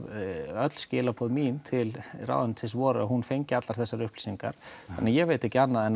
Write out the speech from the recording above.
öll skilaboð mín til ráðuneytisins voru að hún fengi allar þessar upplýsingar þannig að ég veit ekki annað en